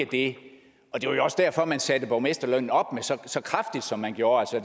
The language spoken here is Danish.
det var jo også derfor man satte borgmesterlønnen op så kraftigt som man gjorde